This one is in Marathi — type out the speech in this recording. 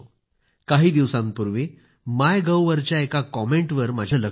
काही दिवसांपूर्वी माय गव वर एका कॉमेंट वर माझी नजर गेली